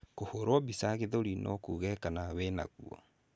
Kũhũrwo mbica gĩthũri no kũge kana wĩnaguo.